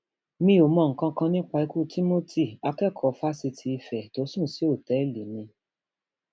mi ò mọ nǹkan kan nípa ikú timothy akẹkọọ fásitì ife tó sùn sí òtẹẹlì mi